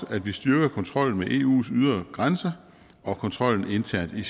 at vi styrker kontrollen med eus ydre grænser og kontrollen internt i